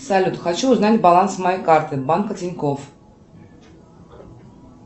салют хочу узнать баланс моей карты банка тинькофф